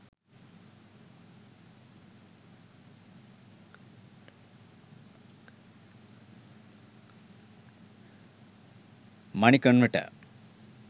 money converter